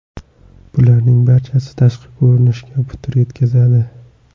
Bularning barchasi tashqi ko‘rinishga putur yetkazadi.